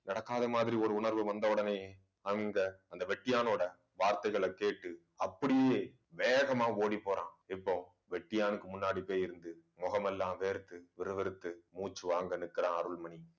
நடக்காத மாதிரி ஒரு உணர்வு வந்த உடனே அந்த அந்த வெட்டியானோட வார்த்தைகளைக் கேட்டு அப்படியே வேகமா ஓடிப் போறான். இப்போ வெட்டியானுக்கு முன்னாடி போய் இருந்து முகமெல்லாம் வேர்த்து விறுவிறுத்து மூச்சு வாங்க நிற்கிற அருள்மணி